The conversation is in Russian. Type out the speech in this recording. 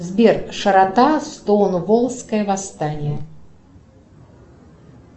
сбер широта стоунволлское восстание